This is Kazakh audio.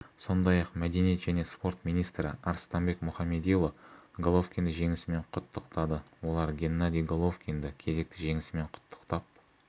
сондай-ақ мәдениет және спорт министрі арыстанбек мұхамедиұлы головкинді жеңісімен құттықтады олар геннадий головкинді кезекті жеңісімен құттықтап